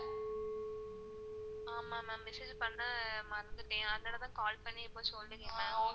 ஆமா ma'am, message பண்ண மறந்துட்டன் அதனால தான் call பண்ணி இப்போ சொல்லிருக்கன்